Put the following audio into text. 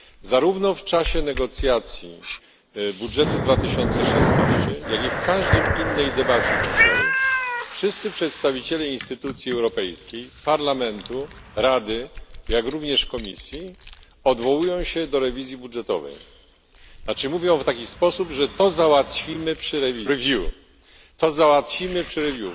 Zarówno w czasie negocjacji budżetu na rok 2016, jak i w każdej innej debacie dzisiaj wszyscy przedstawiciele instytucji europejskich Parlamentu, Rady, jak również Komisji odwołują się do rewizji budżetowej, znaczy mówią w taki sposób, że to załatwimy przy rewizji, dokładnie przy review, to załatwimy przy review